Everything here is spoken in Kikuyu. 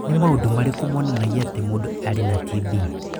Nĩ maũndũ marĩkũ monanagia atĩ mũndũ arĩ na TB?